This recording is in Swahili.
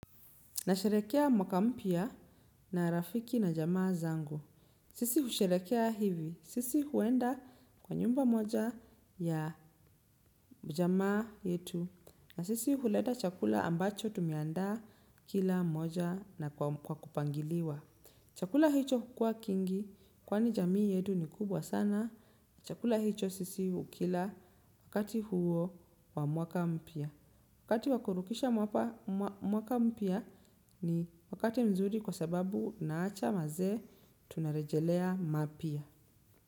Na sherekea mwaka mpya na rafiki na jamaa zangu. Sisi husherekea hivi. Sisi huenda kwa nyumba moja ya jamaa yetu. Na sisi huleta chakula ambacho tumeandaa kila mmoja na kwa kupangiliwa. Chakula hicho hukua kingi kwani jamii yetu ni kubwa sana. Chakula hicho sisi hukila wakati huo wa mwaka mpya. Wakati wa kurukisha mwaka mpya ni wakati mzuri kwa sababu naacha mazee tunarejelea mapya.